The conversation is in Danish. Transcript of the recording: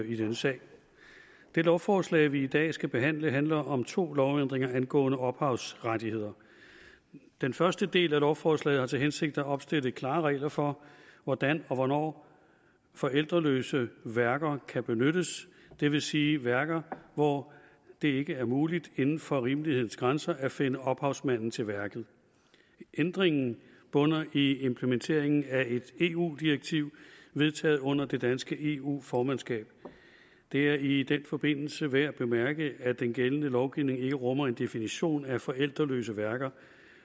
i denne sag det lovforslag vi i dag skal behandle handler om to lovændringer angående ophavsrettigheder den første del af lovforslaget har til hensigt at opstille klare regler for hvordan og hvornår forældreløse værker kan benyttes det vil sige værker hvor det ikke er muligt inden for rimelighedens grænser at finde ophavsmanden til værket ændringen bunder i implementeringen af et eu direktiv vedtaget under det danske eu formandskab det er i den forbindelse værd at bemærke at den gældende lovgivning ikke rummer en definition af forældreløse værker